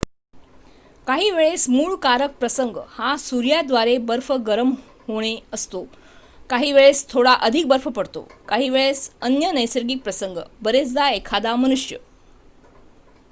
काहीवेळेस मूळ कारक प्रसंग हा सूर्याद्वारे बर्फ गरम होणणे असतो काहीवेळेस थोडा अधिक बर्फ पडतो काहीवेळेस अन्य नैसर्गिक प्रसंग बरेचदा एखादा मनुष्य